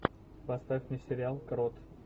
поставь мне сериал крот